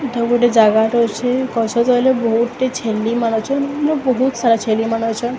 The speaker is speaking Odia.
ଏଇଟା ଗୋଟେ ଜାଗା ଟେ ଅଛି ପଛ ।